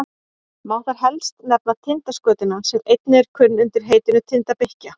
má þar helst nefna tindaskötuna sem einnig er kunn undir heitinu tindabikkja